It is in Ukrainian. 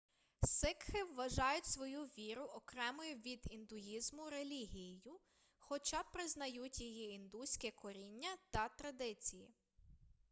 сикхи вважають свою віру окремою від індуїзму релігією хоча признають її індуське коріння та традиції